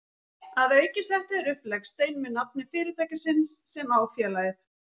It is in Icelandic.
Að auki settu þeir upp legstein með nafni fyrirtækisins sem á félagið.